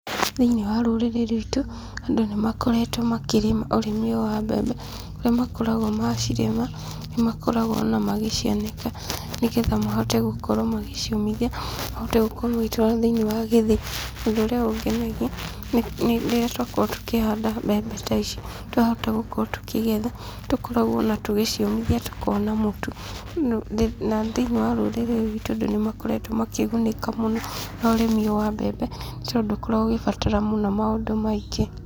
Thĩiniĩ wa rũrĩrĩ rwitũ, andũ nĩ makoretwo makĩrĩma ũrĩmi ũyũ wa mbembe, kũrĩa makoragwo macirĩma nĩ makoragwo o na magĩcianĩka nĩ getha mahote gũkorwo magĩciũmithia, mahote gũkorwo magĩtwara thĩiniĩ wa gĩthĩi. Ũndũ ũrĩa ũngenagia nĩ rĩrĩa twakorwo tũkĩhanda mbembe ta ici, twahota gũkorwo tũkĩgetha. Tũkoragwo o na tũgĩciũmithia tũkona mũtu na thĩiniĩ wa rũrĩrĩ rwitũ andũ nĩ makoretwo makĩgũnĩka mũno na ũrĩmi ũyũ wa mbembe nĩ tondũ ndũkoragwo ũgĩbatara mũno maũndũ maingĩ.